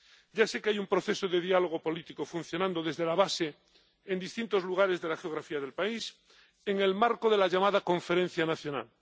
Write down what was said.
Ya sé que hay un proceso de diálogo político funcionando desde la base en distintos lugares de la geografía del país en el marco de la llamada Conferencia Nacional.